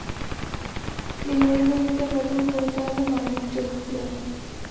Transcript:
দীনবন্ধু মিত্রের প্রথম কবিতা হল মানব চরিত্র।